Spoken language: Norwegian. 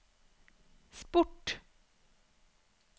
sport